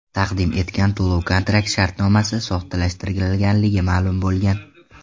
taqdim etgan to‘lov kontrakt shartnomasi soxtalashtirilganligi ma’lum bo‘lgan.